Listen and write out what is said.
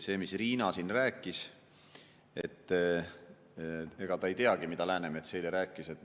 Nagu Riina siin rääkis, ega ta ei teagi, mida Läänemets eile rääkis.